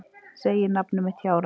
Segir nafnið mitt hjárænulega.